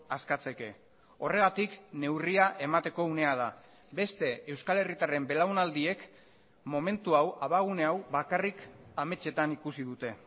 askatzeke horregatik neurria emateko unea da beste euskal herritarren belaunaldiek momentu hau abagune hau bakarrik ametsetan ikusi dute